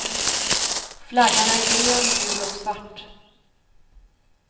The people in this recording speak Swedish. Flaggan är grön, gul och svart.